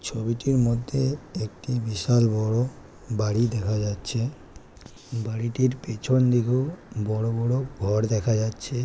ছবিটির মধ্যে একটি বিশাল বড় বাড়ি দেখা যাচ্ছে। বাড়িটির পেছন দিকেও বড় বড় ঘর দেখা যাচ্ছে।